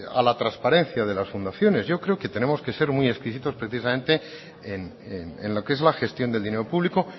a la transparencia de las fundaciones yo creo que tenemos que ser muy exquisitos precisamente en lo que es la gestión del dinero público